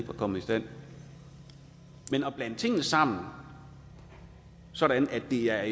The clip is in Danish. var kommet i stand men at blande tingene sammen sådan at det er